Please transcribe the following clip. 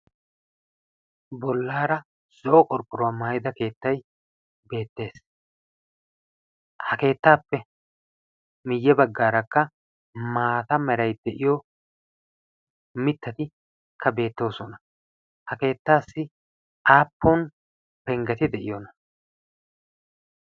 Bollaara lo''o qorqqoruwa maayyida keettay beettees, ha keettappe miyye baggaarakka maata meray de'iyo mittatikka beettoosona. Ha keettassi aappun penggeti de'iyoona?